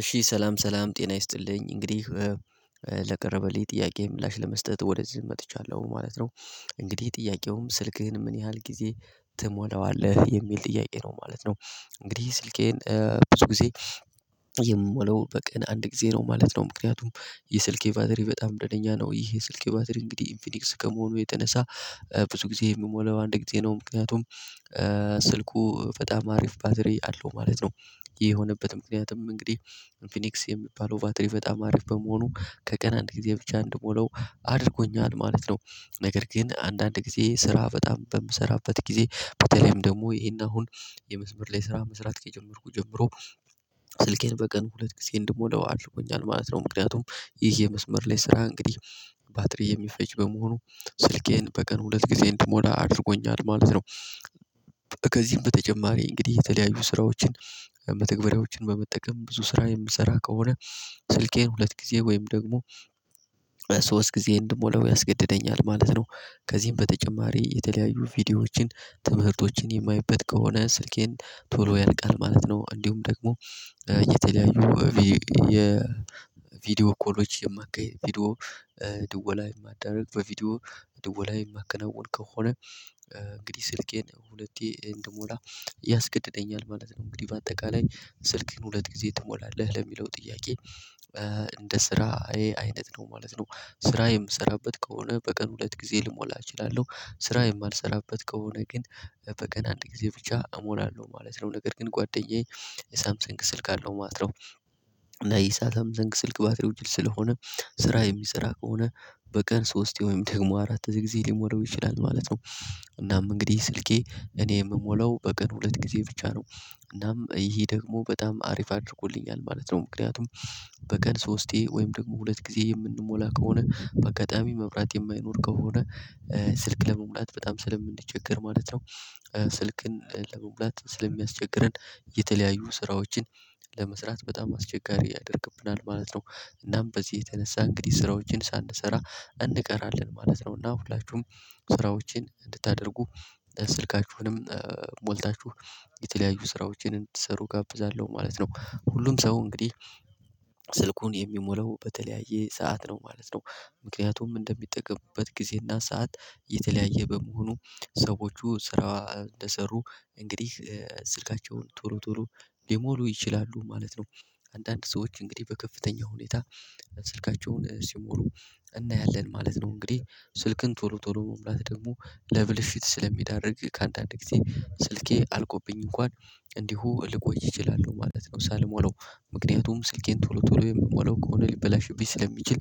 እሺ ሰላም ሰላም ጤና ይስጥልኝ እንግዲህ ለቀረበልኝ ጥያቄ ምላሽ ለመስጠት ወደዚህ መጥቻለሁ ማለት ነው። እንግዲህ ጥያቄውም ስልክህን ምን ያህል ጊዜ ትሞላዋለህ? የሚል ጥያቄ ነው ማለት ነው። እንግዲህ ስልኬን ብዙ ጊዜ የምሞላው በቀን አንድ ጊዜ ነው ማለት ነው። ምክንያቱም የስልኬ የቫትሪ በጣም ጤነኛ ነው ይሄ የስልኬ ባትሪ እንግዲህ ኢንፊኒክስ ከመሆኑ የተነሳ። ብዙ ጊዜ የምሞላው አንድ ጊዜ ነው ምክንያቱም ስልኩ በጣም አሪፍ ባትሪ አለው ማለት ነው። ይሄ የሆነበት ምክንያትም እንግዲህ ኢንፊኒክስ የሚባለው ቫትሪ በጣም አሪፍ በመሆኑ ከቀን አንድ ጊዜ ብቻ እንድሞላው አድርጎኛል ማለት ነው። ነገር ግን አንዳንድ ጊዜ ስራ በጣም በምሰራበት ጊዜ በተለይም ደግሞ ይሄን አሁን የመስመር ላይ ስራ መስራት ከጀመርኩ ጀምሮ ስልኬን በቀን ሁለት ጊዜ እንድሞላው አድርጎኛል ማለት ነው። ምክንያቱም ይሄ የመስመር ላይ ስራ እንግዲህ ባትሪ የሚፈጅ በመሆኑ ስልኬን በቀን ሁለት ጊዜ እንድሞላ አድርጎኛል ማለት ነው። ከዚህም በተጨማሪ እንግዲህ የተለያዩ ስራዎችን መተግበሪያዎችን በመጠቀም ብዙ ስራ የምሰራ ከሆነ ስልኬን ሁለት ጊዜ ወይም ደግሞ ሶስት ጊዜ እንድሞላው ያስገድደኛል ማለት ነው። ከዚህም በተጨማሪ የተለያዩ ቪዲዮዎችን ትምህርቶችን የማይበት ከሆነ ስልኬን ቶሎ ያልቃል ማለት ነው። እንዲሁም ደግሞ የተለያዩ የቪድዮ ኮሎች የማካሄድ ቪዲዮ ድውል ላይ የማዳረግ በቪዲዮ ድውል ላይ የማከናውን ከሆነ እንግዲህ ስልኬን ሁለቴ እንድሞላ ያስገድደኛል ማለት ነው። እንግዲህ በአጠቃላይ ስልክህን ሁለት ጊዜ ትሞላለህ ለሚለው ጥያቄ እንደ ስራዬ አይነት ነው ማለት ነው። ስራ የምሰራበት ከሆነ በቀን ሁለት ጊዜ ልሞላ እችላለሁ ስራ የማልሰራበት ከሆነ ግን በቀን አንድ ጊዜ ብቻ እሞላለሁ ማለት ነው። ነገር ግን ጓደኛዬ ሳምሰንግ ስልክ አለው ማለት ነው። እና ይህ ሳምሰንግ ስልክ ባትሪው ጅል ስለሆነ ስራ የሚሰራ ከሆነ በቀን ሶስቴ ወይም ደግሞ አራት ጊዜ ሊሞላው ይችላል ማለት ነው። እናም እንግዲህ ስልኬ እኔ የምሞላው በቀን ሁለት ጊዜ ብቻ ነው እናም ይሄ ደግሞ በጣም አሪፍ አድርጎልኛል ማለት ነው። ምክንያቱም በቀን ሶስቴ ወይም ደግሞ ሁለት ጊዜ የምንሞላ ከሆነ በአጋጣሚ መብራት የማይኖር ከሆነ ስልክ ለመሙላት በጣም ስለምንቸገር ማለት ነው። ስልክን ለመሙላት ስለሚያስቸግረን የተለያዩ ስራዎችን ለመስራት በጣም አስቸጋሪ ያደርግብናል ማለት ነው። እናም በዚህ የተነሳ እንግዲህ ስራዎችን ሳንሰራ እንቀራለን ማለት ነው እና ሁላችሁም ስራዎችን እንድታደርጉ ስልካችሁንም ሞልታችሁ የተለያዩ ስራዎችን እንድትሰሩ እጋብዛለሁ ማለት ነው። ሁሉም ሰው እንግዲህ ስልኩን የሚሞላው በተለያየ ሰዓት ነው ማለት ነው። ምክንያቱም እንደሚጠቀምበት ጊዜ እና ሰዓት የተለያየ በመሆኑ ሰዎቹ ስራ እንደሰሩ እንግዲህ ስልካቸውን ቶሎ ቶሎ ሊሞሉ ይችላሉ ማለት ነው። አንዳንድ ሰዎች እንግዲህ በከፍተኛ ሁኔታ ስልካቸውን ሲሞሉ እናያለን ማለት ነው። እንግዲህ ስልክን ቶሎ ቶሎ መሙላት ደግሞ ለብልሽት ስለሚዳርግ ከአንዳንድ ጊዜ ስልኬ አልቆብኝ እንኳን እንዲሁ ልቆይ እችላለሁ ማለት ነው። ሳልሞላው ምክንያቱም ስልኬን ቶሎ ቶሎ የምሞላው ከሆነ ሊበላሽብኝ ስለሚችል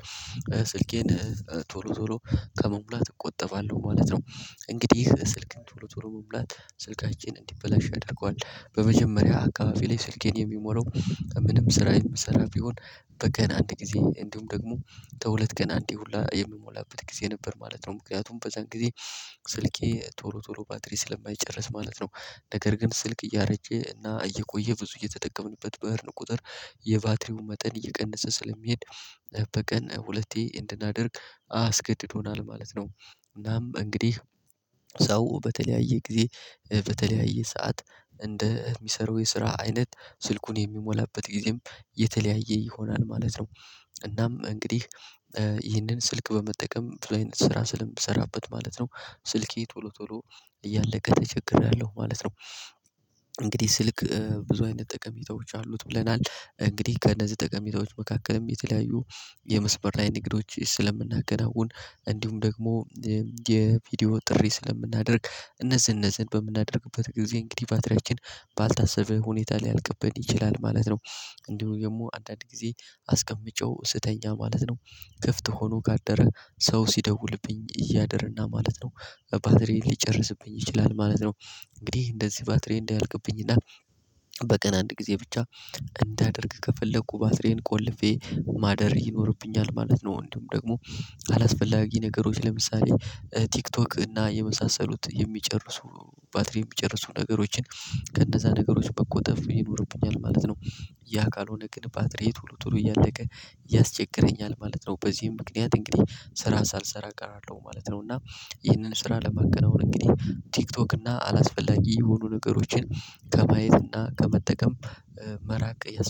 ስልኬን ቶሎ ቶሎ ከመሙላት እቆጠባለሁ ማለት ነው። እንግዲህ ስልክን ቶሎ ቶሎ መሙላት ሰልካችን እንዲበላሽ ያደርገዋል በመጀመሪያ አካባቢ ላይ ሰልኬን የምሞላው ምንም ስራ የምሰራ ቢሆን በቀን አንድ ጊዜ እንዲሁም ደግሞ ከሁለት ቀን አንዴ ሁላ የምሞላበት ጊዜ ነበር ማለት ነው። ምክንያቱም በዛን ጊዜ ስልኬ ቶሎ ቶሎ ባትሪ ስለማይጨርስ ማለት ነው። ነገር ግን ስልክ እያረጀ እና እየቆየ ብዙ እየተጠቀምንበት በሄድን ቁጥር የባትሪው መጠን እየቀነሰ ስለሚሄድ በቀን ሁለቴ እንድናደርግ አስገድዶናል ማለት ነው። እናም እንግዲህ በተለያየ ጊዜ በተለያየ ሰዓት እንደሚሰራው የስራ አይነት ስልኩን የሚሞላበት ጊዜም የተለያየ ይሆናል ማለት ነው። እናም እንግዲህ ይህንን ስልክ በመጠቀም ብዙ አይነት ስራ ስለምሰራበት ማለት ነው ስልኬ ቶሎ ቶሎ እያለቀ ተቸግሬያለሁ ማለት ነው። እንግዲህ ስልክ ብዙ አይነት ጠቀሜታዎች አሉት ብለናል እንግዲህ ከእነዚህ ጠቀሜታዎች መካከልም የተለያዩ የመስበር ላይ ንግዶች ስለምናከናውን እንዲሁም ደግሞ የቪዲዮ ጥሪ ስለምናደርግ እነዚህ እነዚህን በምናደርግበት ጊዜ እንግዲህ ባትሪያችን ባልታሰበ ሁኔታ ሊያልቅብን ይችላል ማለት ነው። እንዲሁም ደግሞ አንዳንድ ጊዜ አስቀምጨው ስተኛ ማለት ነው። ክፍት ሆኖ ካደረ ሰው ሲደውልብኝ እያደረ እና ማለት ነው ባትሪ ሊጨርስብኝ ይችላል ማለት ነው። እንግዲህ እንደዚህ ባትሪ እንዳያልቅብኝ እና በቀን አንድ ጊዜ ብቻ እንዳደርግ ከፈለኩ ባትሪዬን ቆልፌ ማደር ይኖርብኛል ማለት ነው። እንዲሁም ደግሞ አላስፈላጊ ነገሮች ለምሳሌ ቲክቶክ እና የመሳሰሉት የሚጨርሱ ባትሪ የሚጨርሱ ነገሮችን ከእነዛ ነገሮች መቆጠብ ይኖርብኛል ማለት ነው። ያ ካልሆነ ግን ባትሪዬ ቶሎ ቶሎ እያለቀ ያስቸግረኛል ማለት ነው። በዚህም ምክንያት እንግዲህ ስራ ሳልሰራ እቀራለሁ ማለት ነው። እና ይህንን ስራ ለማከናወን እንግዲህ ቲክቶክ እና አላስፈላጊ የሆኑ ነገሮችን ከማየት እና ከመጠቀም መራቅ ያስ